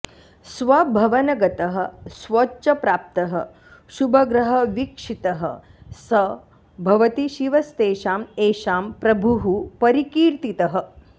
स्वभवनगतः स्वोच्चप्राप्तः शुभग्रहवीक्षितः स भवति शिवस्तेषां येषां प्रभुः परिकीर्तितः